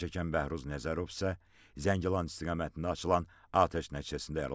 Zərərçəkən Bəhruz Nəzərov isə Zəngilan istiqamətində açılan atəş nəticəsində yaralanıb.